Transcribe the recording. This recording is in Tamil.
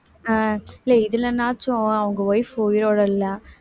அஹ் இல்லை இதிலேனாச்சும் அவங்க wife உயிரோட இல்லை